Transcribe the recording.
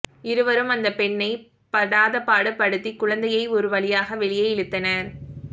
இருவரும் அந்த பெண்ணை படாதபாடு படுத்தி குழந்தையை ஒருவழியாக வெளியே இழுத்தனர்